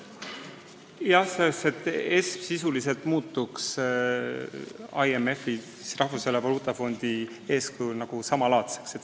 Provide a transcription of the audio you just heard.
Jah, EFSF sisuliselt muutuks IMF-i ehk Rahvusvahelise Valuutafondi eeskujul samalaadseks.